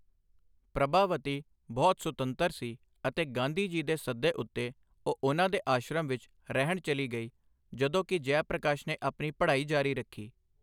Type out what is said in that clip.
ਪ੍ਰਭਾਵਤੀ ਬਹੁਤ ਸੁਤੰਤਰ ਸੀ ਅਤੇ ਗਾਂਧੀ ਜੀ ਦੇ ਸੱਦੇ ਉੱਤੇ ਉਹ ਉਹਨਾਂ ਦੇ ਆਸ਼ਰਮ ਵਿੱਚ ਰਹਿਣ ਚੱਲੀ ਗਈ, ਜਦੋਂ ਕਿ ਜੈ ਪ੍ਰਕਾਸ਼ ਨੇ ਆਪਣੀ ਪੜ੍ਹਾਈ ਜਾਰੀ ਰੱਖੀ।